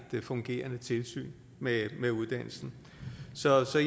fungerende tilsyn med med uddannelsen så